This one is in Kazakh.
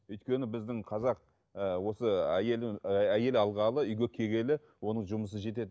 өйткені біздің қазақ ыыы осы әйел і әйел алғалы үйге келгелі оның жұмысы жетеді